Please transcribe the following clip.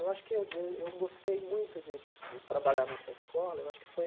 Eu acho que eu eu eu gostei muito de de trabalhar nessa escola, eu acho que foi...